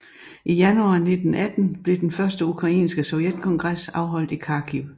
I januar 1918 blev den første ukrainske sovjetkongres afholdt i Kharkiv